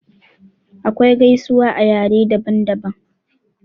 Akwai gaisuwa a yare daban daban.